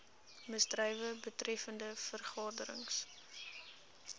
misdrywe betreffende vergaderings